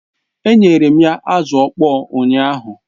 Enyere m ya azụ ọkpọr ụnyaahụ